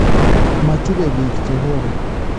Machube biik chehoba